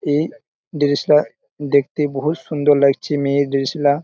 এ দৃশলা দেখতে বহুত সুন্দর লাগছে মেয়ে দৃশলা ।